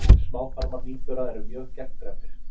Smáþarmar nýbura eru mjög gegndræpir.